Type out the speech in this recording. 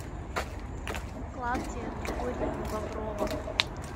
клавдия григорьевна боброва